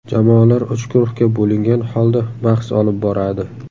Jamoalar uch guruhga bo‘lingan holda bahs olib boradi.